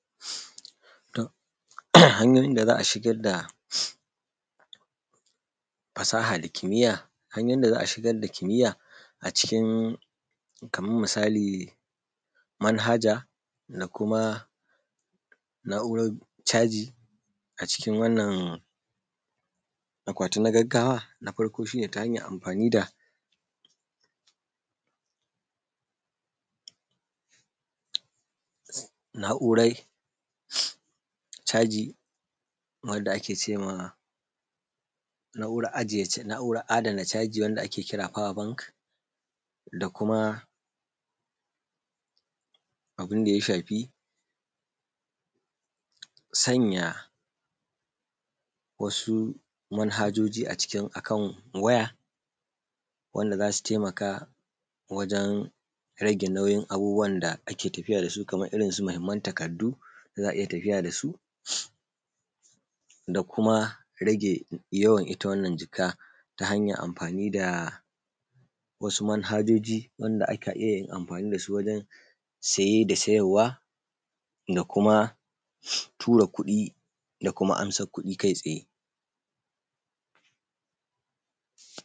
Hanyoyin da za a shigar da fasaha da kimiyya cikin kamar misali manhaja da kuma na'urar caji a cikin wannan akwatin na gaggawa ta hanyar amfani da na'uran caji wanda ake ce ma na'urar adana caji wanda ake kira da power bank da kuma abin da ya shafi sanyaya wasu manhajoji a ciki ko kan waya su taimaka wajen rage nauyin abubuwan da ake tafiya da su kamar irinsu mahimman takardu za a iya tafiya da su da kuma rage ita Wannan jaka ta hanyar amfani da wasu manhajoji wanda ake amfani da su wajen saye da sayarwa da kuma tura kuɗi da kuma ko amsar kudi kai tsaye.